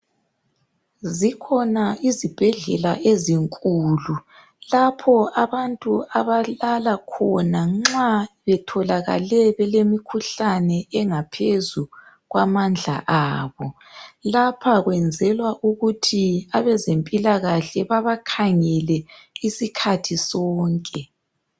Zikhona izibhedlela ezinkulu lapho abantu abalala khona nxa betholakale belemikhuhlane engaphezu kwamandla abo lapho kwenzelwa ukuthi abezempilakahle babakhangele isikhathi sonke.